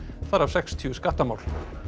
þar af sextíu skattamál